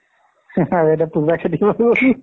আৰু এতিয়া পুৰা থিক হৈ গ'ল